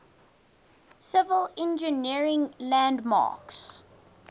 civil engineering landmarks